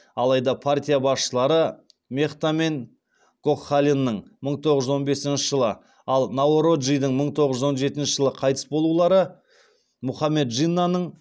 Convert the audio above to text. алайда партия басшылары мехта мен гокхаленың мың тоғыз жүз он бесінші жылы ал наороджидің мың тоғыз жүз он жетінші жылы қайтыс болулары мұхаммед джиннаның